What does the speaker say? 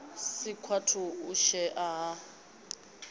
si kwavhui u shaea ha